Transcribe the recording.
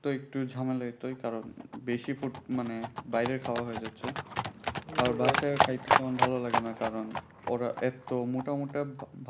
তো একটু ঝামেলা বেশি food মানে বাইরের খাওয়া হয়ে যাচ্ছে খাইতে তেমন ভালো লাগে না কারণ ওরা এত মোটা মোটা